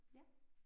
Ja